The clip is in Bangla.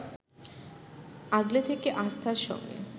আগলে থেকে আস্থার সঙ্গে